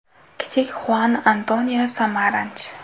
Kichik Xuan Antonio Samaranch.